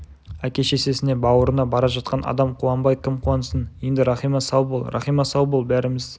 әке-шешесіне бауырына бара жатқан адам қуанбай кім қуансын енді рахима сау бол рахима сау бол бәріміз